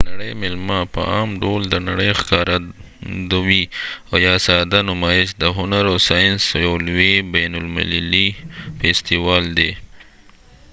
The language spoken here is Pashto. د نړۍ میله په عام ډول د نړۍ ښکارندوي ،او یا ساده نمایش د هنر او ساینس یو لوي بین المللی فیستیوال دي